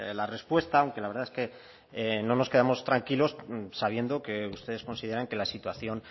la respuesta aunque la verdad es que no nos quedamos tranquilos sabiendo que ustedes consideran que la situación